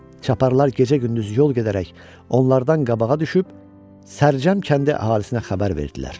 Çaparalar gecə-gündüz yol gedərək onlardan qabağa düşüb Sərcəm kəndi əhalisinə xəbər verdilər.